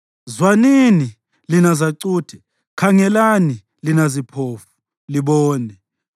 “Zwanini, lina zacuthe; khangelani, lina ziphofu, libone!